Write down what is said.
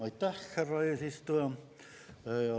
Aitäh, härra eesistuja!